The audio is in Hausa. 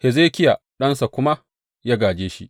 Hezekiya ɗansa kuma ya gāje shi.